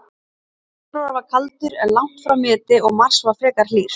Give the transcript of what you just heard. Febrúar var kaldur, en langt frá meti, og mars var frekar hlýr.